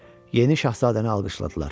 Yeni şahzadəni alqışladılar.